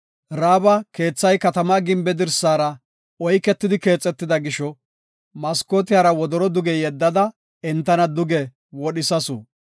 Ra7aabi keethay katama gimbe dirsara oyketidi keexetida gisho, maskootiyara wodoro duge yeddada, entana duge wodhisasu.